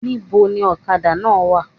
Ní bo ni òkadà náà wa?